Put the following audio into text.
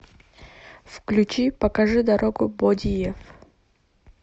включи покажи дорогу бодиев